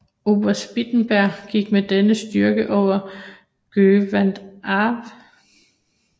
Oberst Wittenberg gik med denne styrke over Göta älv